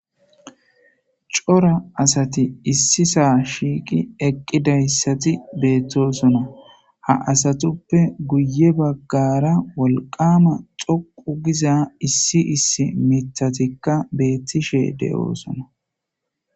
Cora asati issi saa shiiqi eqqidayssati beettosona ha asatuppe guye baggara wolqama xoqu giza issi issi mitatikka beettishe de'oosona.